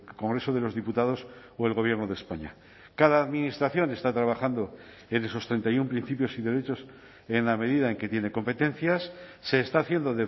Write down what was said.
congreso de los diputados o el gobierno de españa cada administración está trabajando en esos treinta y uno principios y derechos en la medida en que tiene competencias se está haciendo